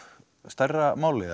stærra máli